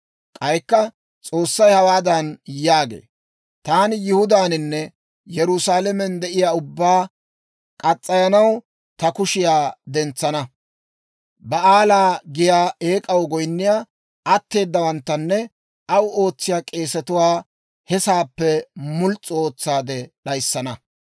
K'aykka S'oossay hawaadan yaagee; «Taani Yihudaaninne Yerusaalamen de'iyaa ubbaa muranaw ta kushiyaa dentsana; Ba'aala giyaa eek'aw goyinniyaa atteeddawanttanne aw ootsiyaa k'eesetuwaa he sa'aappe muls's'u ootsaade d'ayissana.